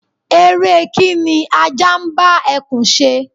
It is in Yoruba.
ère kíń ní aja n ba ekún se